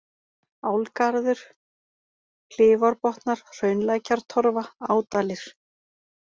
Álagarður, Klifárbotnar, Hraunlækjartorfa, Ádalir